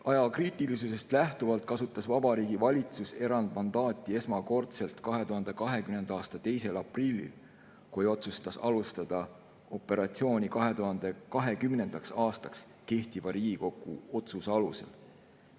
Ajakriitilisusest lähtuvalt kasutas Vabariigi Valitsus erandmandaati esmakordselt 2020. aasta 2. aprillil, kui otsustas alustada operatsiooni 2020. aastaks kehtiva Riigikogu otsuse alusel.